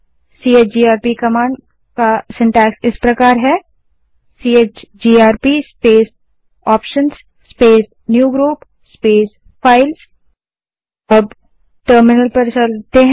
CHGRP command का रचनाक्रम syntax इस प्रकार है chgrp space options space new group space files space chgrp space options